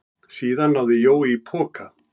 Síðan náði Jói í poka.